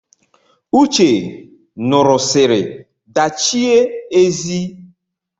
Uche ṅụrụsiri dachie ezi